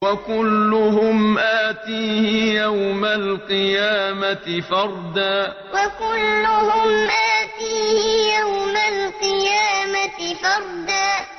وَكُلُّهُمْ آتِيهِ يَوْمَ الْقِيَامَةِ فَرْدًا وَكُلُّهُمْ آتِيهِ يَوْمَ الْقِيَامَةِ فَرْدًا